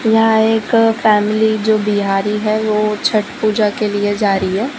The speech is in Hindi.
यहां एक फैमिली जो बिहारी है वो छठ पूजा के लिए जा रही है।